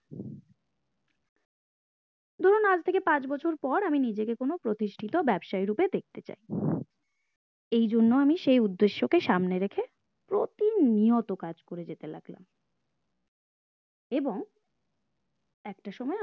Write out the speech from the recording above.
আজ থেকে পাঁচ বছর পর আমি নিজেকে কোনো প্রতিষ্ঠিতা ব্যাবসায়ী রূপে দেখতে চাই এই জন্য আমি সেই উদ্দেশ্য কে সামনে রেখে প্রতি নিয়ত কাজ করে যেতে লাগলাম এবং একটা সময়